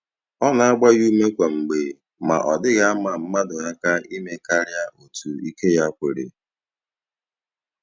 Ọ na-agba ya ume kwa mgbe, ma ọ dịghị ama mmadụ aka ime karịa otu ike ya kwere.